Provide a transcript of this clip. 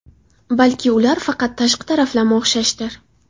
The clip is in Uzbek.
Balki ular faqat tashqi taraflama o‘xshashdir?